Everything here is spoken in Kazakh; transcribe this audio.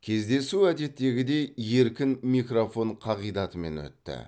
кездесу әдеттегідей еркін микрофон қағидатымен өтті